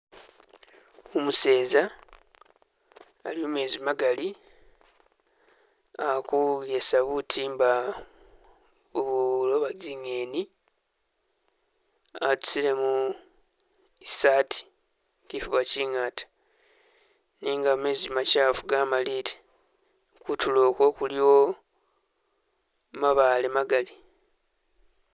Umuseza ali mumezi magaali akugesa butimba ubuloba zingheni atusilemu isaati kifuba kingaata nenga mezi machafu gamalile kutulo ukwo kuliwo mabaale magaali